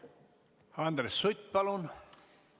Andres Sutt, palun!